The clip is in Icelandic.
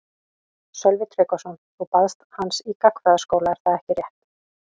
Sölvi Tryggvason: Þú baðst hans í gagnfræðaskóla er það ekki rétt?